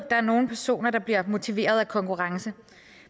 der er nogle personer der bliver motiveret af konkurrence